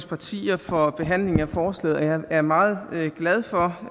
partier for behandlingen af forslaget jeg er meget glad for